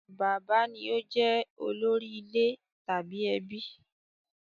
Bàbá ni ó jẹ̀ olórí ilé/ẹbí